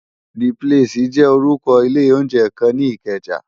D plési jè órùkò ilé óunjè kán ni Ikeja